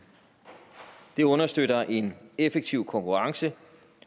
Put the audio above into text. det understøtter en effektiv konkurrence